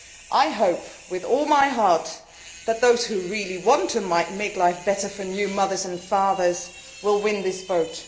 I hope with all my heart that those who really want to make life better for new mothers and fathers will win this vote.